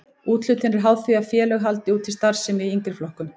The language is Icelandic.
Úthlutun er háð því að félög haldi úti starfsemi í yngri flokkum.